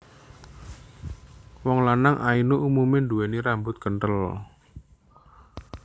Wong lanang Ainu umume nduwèni rambut kentel